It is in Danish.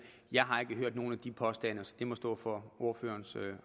jeg har ikke hørt nogen af de påstande så det må stå for ordførerens